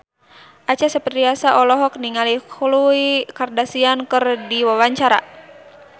Acha Septriasa olohok ningali Khloe Kardashian keur diwawancara